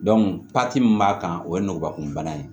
min b'a kan o ye nugubakun bana ye